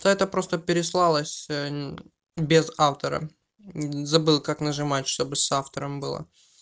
то это просто пересылалось без автора забыл как нажимать чтобы с автором было